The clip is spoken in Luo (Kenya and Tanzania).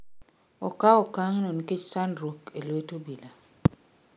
Okao okang' no nikech sandruok e lwet obila